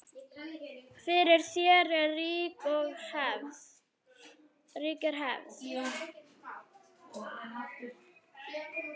Fyrir því er rík hefð.